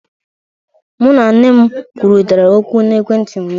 Mụ na nne m kwurịtara okwu n'ekwentị ụnyaahụ